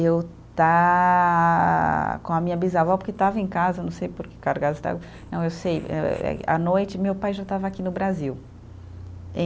Eu estar com a minha bisavó, porque estava em casa, não sei por que cargas estava, não, eu sei eh eh, à noite, meu pai já estava aqui no Brasil. Em